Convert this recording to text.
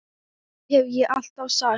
Það hef ég alltaf sagt.